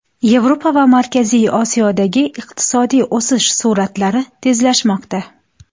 Yevropa va Markaziy Osiyodagi iqtisodiy o‘sish sur’atlari tezlashmoqda.